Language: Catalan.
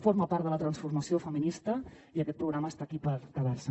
forma part de la transformació feminista i aquest programa és aquí per quedar se